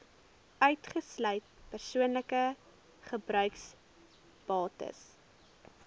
uitgesluit persoonlike gebruiksbates